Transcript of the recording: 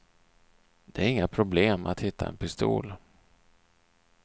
Det är inga problem att hitta en pistol.